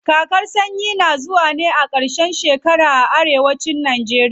Kakar sanyi tana zuwa ne a ƙarshen shekara a arewa cin najeriya.